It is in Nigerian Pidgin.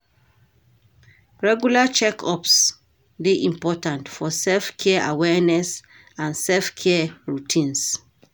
Regular check-ups dey important for self-care awareness and self-care routines.